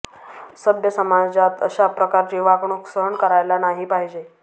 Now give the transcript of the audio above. सभ्य समाजात अशा प्रकारची वागणूक सहन करायला नाही पाहिजे